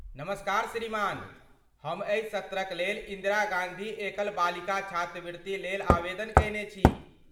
नमस्कार श्रीमान, हम एहि सत्रक लेल इन्दिरा गाँधी एकल बालिका छात्रवृत्ति लेल आवेदन कयने छी।